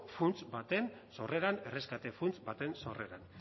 funts baten sorreran erreskate funts baten sorreran